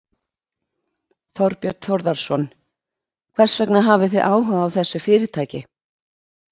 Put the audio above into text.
Þorbjörn Þórðarson: Hvers vegna hafið þið áhuga á þessu fyrirtæki?